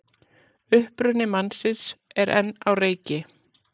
Uppruni mannsins er enn á reiki